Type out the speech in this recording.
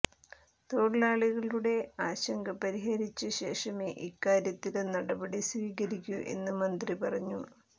തൊഴിലാളികളുടെ ആശങ്ക പരിഹരിച്ച ശേഷമേ ഇക്കാര്യത്തില് നടപടി സ്വീകരിക്കൂ എന്ന് മന്ത്രി പറഞ്ഞു